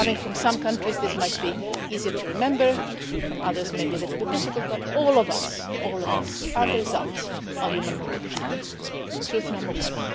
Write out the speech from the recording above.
Coming from some countries this might be easier to remember, for others maybe a little bit difficult, but all of us, all of us, are the result of human mobility truth number one.